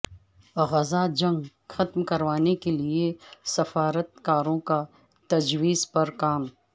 غزہ جنگ ختم کروانے کے لیے سفارتکاروں کا تجویز پر کام